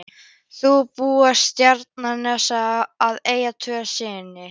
Þau búa á Seltjarnarnesi og eiga tvo syni.